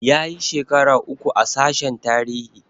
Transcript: Yayi shekara uku a sashen tarihi